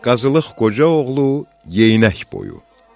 Qazılıq Qoca oğlu Yeynək boyu.